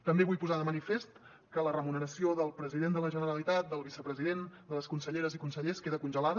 també vull posar de manifest que la remuneració del president de la generalitat del vicepresident de les conselleres i consellers queda congelada